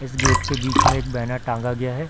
इस गेट के बीच में एक बैनर टांगा गया है।